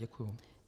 Děkuju.